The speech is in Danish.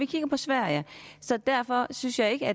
kigger på sverige derfor synes jeg ikke